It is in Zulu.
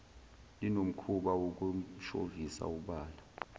linomkhuba wokumshovisa ubala